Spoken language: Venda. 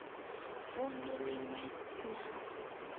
vund u lin we na